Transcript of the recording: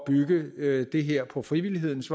bygge det her på frivillighedens